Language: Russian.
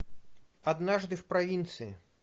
однажды в провинции